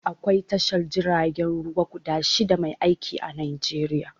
Aƙwai tashar jiragen ruwa guda shida mai aiƙi a Najeriƴa.